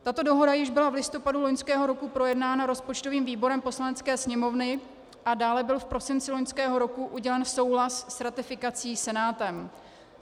Tato dohoda již byla v listopadu loňského roku projednána rozpočtovým výborem Poslanecké sněmovny, a dále byl v prosinci loňského roku udělen souhlas s ratifikací Senátem.